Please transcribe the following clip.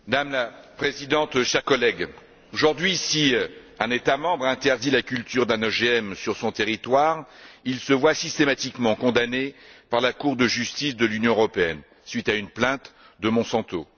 Madame la Présidente, chers collègues, aujourd'hui, si un État membre interdit la culture d'un OGM sur son territoire, il se voit systématiquement condamner par la Cour de justice de l'Union européenne à la suite d'une plainte de Monsanto.